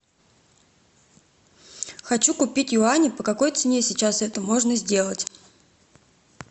хочу купить юани по какой цене сейчас это можно сделать